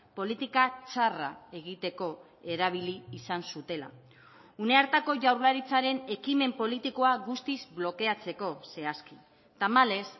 politika txarra egiteko erabili izan zutela une hartako jaurlaritzaren ekimen politikoa guztiz blokeatzeko zehazki tamalez